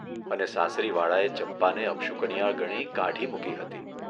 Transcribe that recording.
અને સાસરીવાળાએ ચંપાને અપશુકનિયાળ ગણી કાઢી મૂકી હતી.